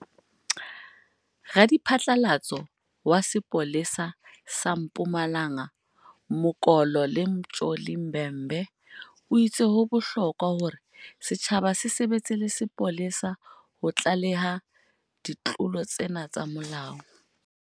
Radiphatlalatso wa sepole sa sa Mpumalanga Mokolo nele Mtsholi Bhembe o itse ho bohlokwa hore setjhaba se sebetse le sepolesa ho tlaleha ditlolo tsena tsa molao.